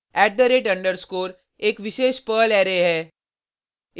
@_ एक विशेष Perl array है